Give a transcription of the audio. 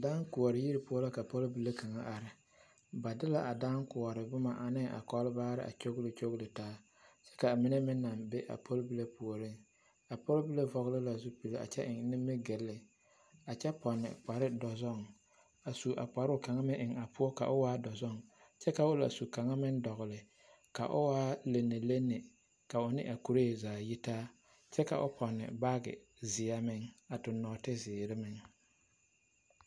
Dããkoɔ yiri poɔ la ka pɔlbile kaŋ a are ba de la a dããkoɔre boma ane a kɔlbaare a kyoɡelekyoɡele taa ka a mine meŋ naŋ be a pɔlbile puoriŋ a pɔlbile vɔɔle la zupili kyɛ eŋ nimiɡyili a kyɛ pɔne kpardɔzɔɡe kyɛ su a kparoo kaŋ meŋ eŋ a poɔ ka o meŋ e dɔzɔŋ kyɛ ka o la su kaŋa meŋ dɔɔle ka o waa lenelene ka o ne a kuree zaa yitaa kyɛ ka o pɔne baaɡe zeɛ meŋ a tuɡi nɔɔteziiri meŋ.